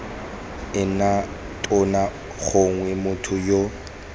ena tona gongwe motho yoo